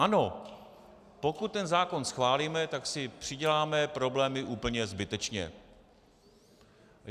Ano, pokud ten zákon schválíme, ta si přiděláme problémy úplně zbytečně.